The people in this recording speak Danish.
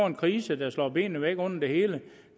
en krise der slog benene væk under det hele